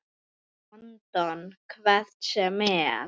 London. hvert sem er.